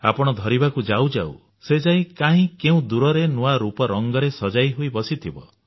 ଆପଣ ଧରିବାକୁ ଯାଉ ଯାଉ ସେ ଯାଇ କାହିଁ କେଉଁ ଦୂରରେ ନୂଆ ରୂପ ରଙ୍ଗରେ ସଜେଇ ହୋଇ ବସିଥିବ